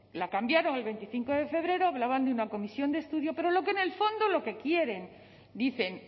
la cambiaron el veinticinco de febrero hablaban de una comisión de estudio pero en el fondo lo que quieren dicen